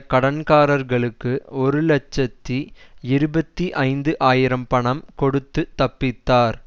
கடன்காரர்களுக்கு ஒரு இலட்சத்தி இருபத்தி ஐந்து ஆயிரம் பணம் கொடுத்து தப்பித்தார்